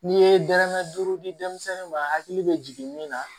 N'i ye dɔrɔmɛ duuru di denmisɛnnin ma hakili bɛ jigin min na